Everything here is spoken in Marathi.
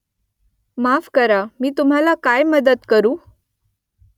माफ करा मी तुम्हाला काय मदत करू ?